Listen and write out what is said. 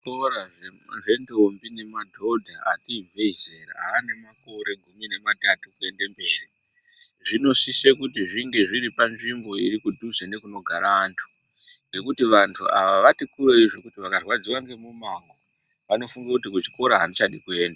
Zvikora zvendombi nemadhodha ati ibvei zera aane makore gumi nematatu kuende mberi zvinosise kuti zvinge zviri panzvimbo iri kudhuze nekunogara antu ngekuti vantu ava vati kureyi zvekuti vakarwadziwa ngemumango vanofunge kuti kuchikora andichadi kuenda.